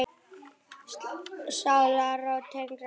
Sálarró tengdra sála.